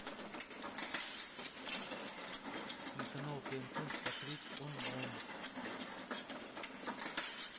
телеканал тнт смотреть онлайн